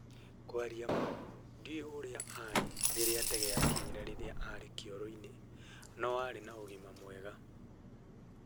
kwaria maa, ndiũĩ ũrĩa aarĩ rĩrĩa ndege yakinyire rĩrĩa aarĩ kĩoro-inĩ, no aarĩ na ũgima mwega.